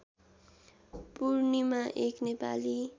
पूर्णिमा एक नेपाली